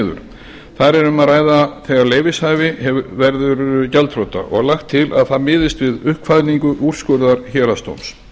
niður þar er um að ræða þegar leyfishafi verður gjaldþrota og lagt til að það miðist við uppkvaðningu úrskurðar héraðsdóms